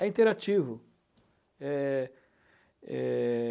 É interativo. Eh é...